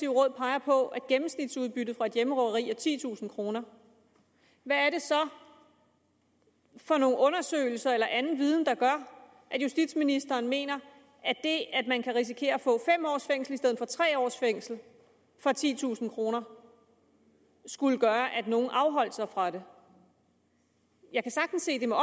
råd peger på at gennemsnitsudbyttet for et hjemmerøveri er titusind kr hvad er det så for nogle undersøgelser eller anden viden der gør at justitsministeren mener at det at man kan risikere at få fem års fængsel i stedet for tre års fængsel for titusind kr skulle gøre at nogle afholdt sig fra det jeg kan sagtens se det med